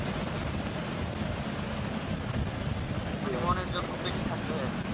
খুব বেশি থাকতে হয় আরকি